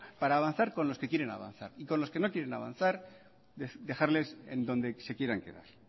para avanzar cuando se quieren avanzar y con los que no quieren avanzar dejarles en donde se quieran quedar